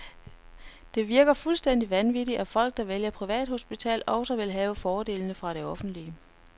Det virker fuldstændigt vanvittigt, at folk, der vælger privathospital, også vil have fordelene fra det offentlige.